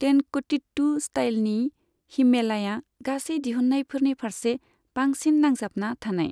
तेंनकुटीट्टु स्टाइलनि हिममेलाया गासै दिहुन्नायनिफारसे बांसिन नांजाबना थानाय।